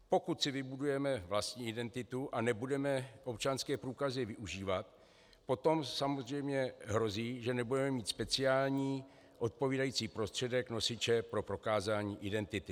Pokud si vybudujeme vlastní identitu a nebudeme občanské průkazy využívat, potom samozřejmě hrozí, že nebudeme mít speciální odpovídající prostředek nosiče pro prokázání identity.